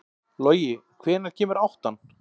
Logi, hvenær kemur áttan?